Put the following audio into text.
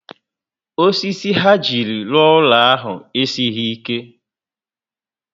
Osisi ha jiri rụọ úlọ ahụ esighi ike